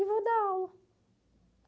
E vou dar aula.